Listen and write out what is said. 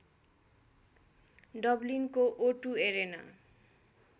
डबलिनको O two arena